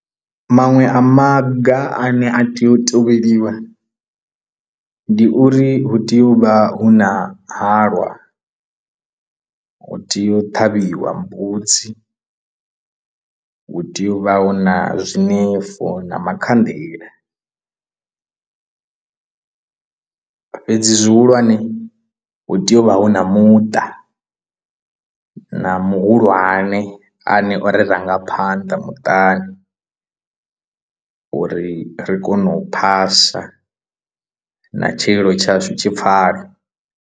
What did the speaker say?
Maṅwe a maga ane a tea u tevheliwa ndi uri hu tea u vha hu na halwa hu tea u ṱhavhiwa mbudzi hu tea u vha hu na zwinefu na makhanḓela fhedzi zwihulwane hu tea u vha hu na muṱa na muhulwane a ne o ri rangaphanḓa muṱani uri ri kone u phasa na tshililo tshashu tshi pfhale.